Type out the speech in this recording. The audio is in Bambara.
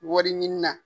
Wari ɲini na